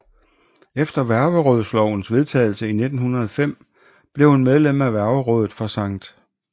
Efter værgerådslovens vedtagelse 1905 blev hun medlem af værgerådet for Skt